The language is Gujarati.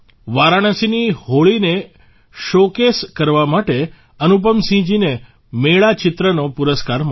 વારાણસીની હોળીને શો કેસ કરવા માટે અનુપમસિંહજીને મેળા ચિત્રનો પુરસ્કાર મળ્યો